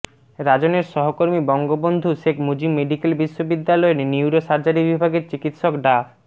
রাজনের সহকর্মী বঙ্গবন্ধু শেখ মুজিব মেডিকেল বিশ্ববিদ্যালয়ের neurosurgery বিভাগের চিকিৎসক ডা